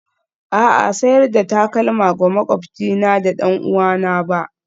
A'a, sayar da takalma ga maƙwabcina ba ɗan'uwana ba.